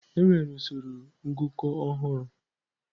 Enwere usoro ngụkọ ọhụrụ.